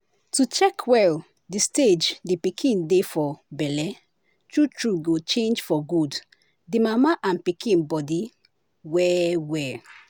to check well the stage the pikin dey for belle true true go change for good the mama and pikin body well well.